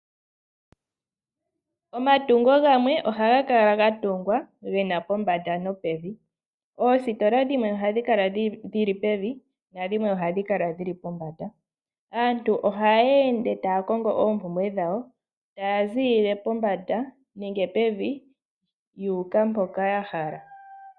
Omatungo gamwe ohaga kala ga tungwa ge na pombanda nopevi. Oositola dhimwe ohadhi kala dhi li pevi nadhimwe ohadhi kala dhi li pombanda. Aantu ohaya ende taya kongo oompumbwe dhawo taya ziilile pombanda nenge pevi yu uka mpoka ya hala.